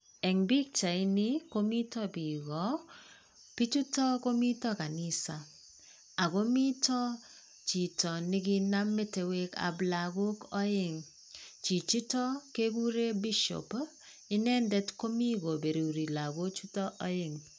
En bichaini komite biik koo, bichutok komiten kanisa ako mitoo chito nekinam metoek ab lokok oeng, chijitok kekuren bishop inendet komii koberuri lokok chutok oeng.